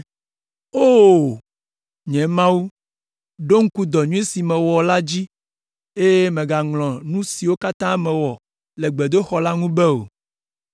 O! Nye Mawu, ɖo ŋku dɔ nyui sia si mewɔ la dzi, eye mègaŋlɔ nu siwo katã mewɔ le gbedoxɔ la ŋu be o.